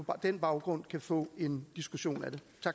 den baggrund kan få en diskussion